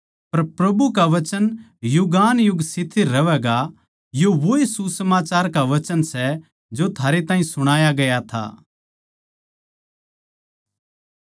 पर प्रभु का वचन युगानुयुग स्थिर रहवैगा यो वोए सुसमाचार का वचन सै जो थारै ताहीं सुणाया गया था